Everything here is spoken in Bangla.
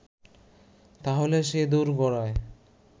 তাহলে সে দোরগড়ায়